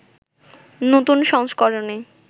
নতুন সংস্করণে